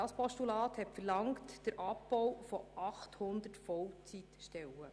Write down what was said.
Das Postulat verlangte den Abbau von 800 Vollzeitstellen.